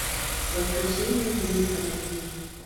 воскрешение ублюдка найди